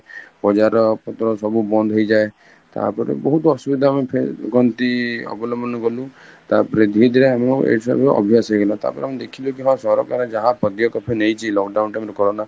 ବଜାର ପତ୍ର ସବୁ ବନ୍ଦ ହେଇଯାଏ ତାପରେ ବହୁତ ଅସୁବିଧା ଆମେ କହନ୍ତି ଅବଲମ୍ବନ କଲୁ ତାପରେ ଧୀରେ ଧୀରେ ଆମେ କଣ ଏଠାରୁ ଅଭ୍ୟାସ ହେଇଗଲା ତାପରେ ଆମେ ଦେଖିଲି କି ହଁ ସରକାର ଯାହା ପଦ୍ୟ ନେଇଛି lockdown time ରେ corona